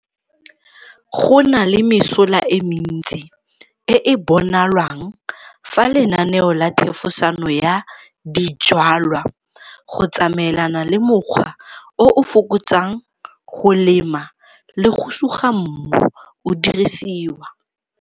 Go na le mesola e mentsi e e bonalwang fa lenaneo la thefosano ya dijwalwa go tsamaelana le mokgwa o o fokotsang go lema le go suga mmu o dirisiwa.